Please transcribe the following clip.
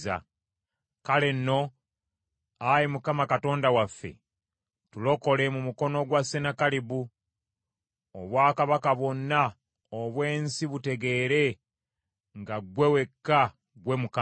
Kale nno, ayi Mukama Katonda waffe, tulokole mu mukono gwa Sennakeribu, obwakabaka bwonna obw’ensi butegeere nga ggwe wekka ggwe Mukama .”